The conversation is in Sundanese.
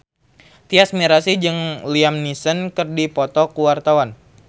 Tyas Mirasih jeung Liam Neeson keur dipoto ku wartawan